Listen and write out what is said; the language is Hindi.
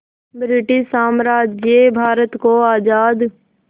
ब्रिटिश साम्राज्य भारत को आज़ाद